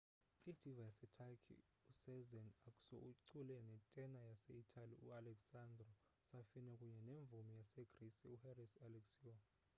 i-diva yaseturkey usezen aksu ucule ne tena yase itali u-alessandro safina kunye nemvumi yasegrisi u-haris alexiou